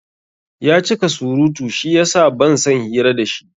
Yacika surutu shiyasa bansan hira dashi